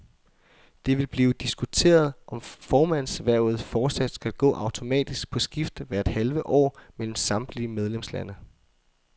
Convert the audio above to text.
Det vil blive diskuteret, om formandshvervet fortsat skal gå automatisk på skift hvert halve år mellem samtlige medlemslande.